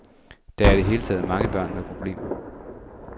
Der er i det hele taget mange børn med problemer.